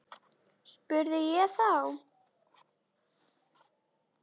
spurði ég þá.